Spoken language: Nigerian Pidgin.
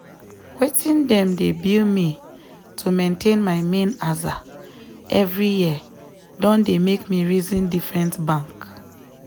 wetin dem dey bill me to maintain my main aza every year don dey make me reason different bank.